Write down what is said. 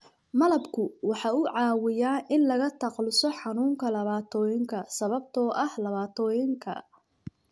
Malabku waxa uu caawiyaa in laga takhaluso xanuunka laabotooyinka sababtoo ah laabotooyinka.